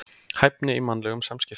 Hæfni í mannlegum samskiptum.